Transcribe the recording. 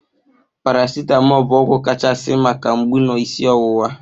Paracitamọl bụ ọgwụ kachasị maka mgbu na isi ọwụwa